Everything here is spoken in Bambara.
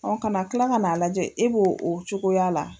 An kana kila ka'a lajɛ e b'o o cogoya la.